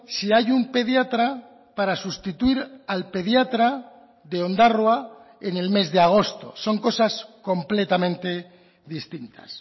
si hay un pediatra para sustituir al pediatra de ondarroa en el mes de agosto son cosas completamente distintas